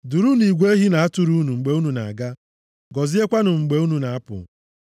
Durunụ igwe ehi na atụrụ unu mgbe unu na-aga. Gọziekwanụ m mgbe unu na-apụ.”